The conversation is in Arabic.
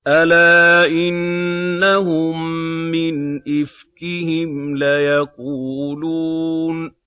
أَلَا إِنَّهُم مِّنْ إِفْكِهِمْ لَيَقُولُونَ